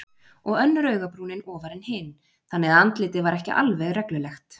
Og önnur augabrúnin ofar en hin, þannig að andlitið var ekki alveg reglulegt.